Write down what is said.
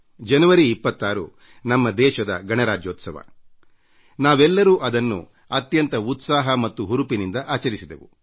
ಜನವರಿ 26ರಂದು ನಮ್ಮ ಗಣರಾಜ್ಯೋತ್ಸವವನ್ನು ನಾವೆಲ್ಲರೂ ದೇಶದ ಮೂಲೆ ಮೂಲೆಗಳಲ್ಲಿ ಅತ್ಯಂತ ಉತ್ಸಾಹ ಮತ್ತು ಸಂಭ್ರಮದಿಂದ ಆಚರಿಸಿದೆವು